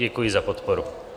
Děkuji za podporu.